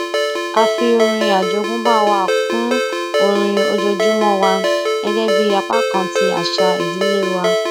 a fi orin àjógúnbá wa kún orin ojoojúmó wa gégé bí apá kan ti àṣà ìdílé wa